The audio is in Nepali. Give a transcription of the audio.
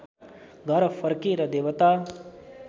घर फर्के र देवता